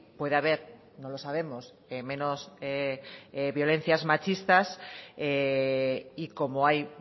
puede haber no lo sabemos menos violencias machistas y como hay